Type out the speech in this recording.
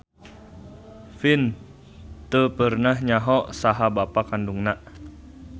Vin teu pernah nyaho saha bapa kandungna.